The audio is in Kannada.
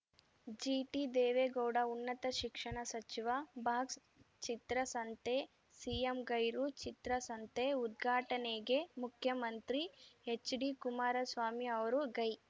ಜಿಟಿದೇವೇಗೌಡ ಉನ್ನತ ಶಿಕ್ಷಣ ಸಚಿವ ಬಾಕ್ಸ್‌ಚಿತ್ರಸಂತೆ ಸಿಎಂ ಗೈರು ಚಿತ್ರಸಂತೆ ಉದ್ಘಾಟನೆಗೆ ಮುಖ್ಯಮಂತ್ರಿ ಎಚ್‌ಡಿಕುಮಾರಸ್ವಾಮಿ ಅವರು ಗೈ